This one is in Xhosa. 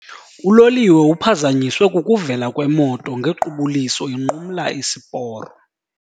Uloliwe uphazanyiswe kukuvela kwemoto ngequbuliso inqumla isiporo.